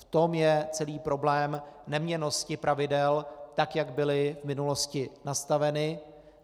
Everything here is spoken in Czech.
V tom je celý problém neměnnosti pravidel, tak jak byla v minulosti nastavena.